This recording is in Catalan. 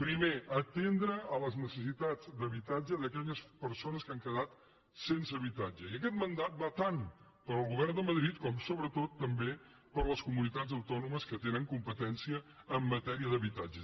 primer atendre les necessitats d’habitatge d’aquelles persones que han quedat sense habitatge i aquest mandat va tant per al govern de madrid com sobretot també per a les comunitats autònomes que tenen competència en matèria d’habitatge